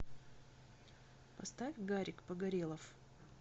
поставь гарик погорелов